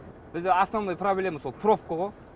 бізде основной проблема сол пробка ғо